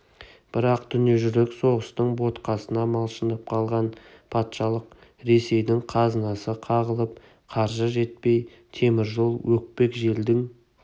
бірақ дүниежүзілік соғыстың ботқасына малшынып қалған патшалық ресейдің қазынасы қағылып қаржы жетпей темір жол өкпек желдің